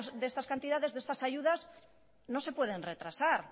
de estas cantidades de estas ayudas no se pueden retrasar